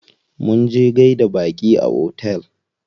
Munje gaida baƙi a otel.